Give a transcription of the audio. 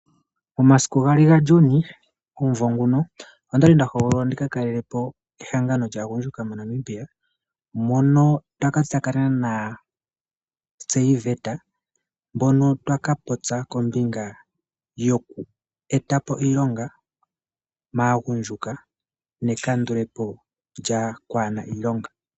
Omasiku 2 Juni 2026 ondali ndahogololwa ndikakalelepo ehangano lyagundjuka moNamibia , mono ndaka tsakanena na David mono twaka popya kombinga yokwetapo iilonga magundjuka nekandulepo lyokwana iilonga.